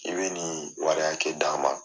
I bi nin wari hakɛ d'a ma.